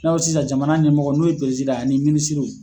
Ni na fɔ sisan jamana ɲɛmɔgɔ n'o ye ye , ani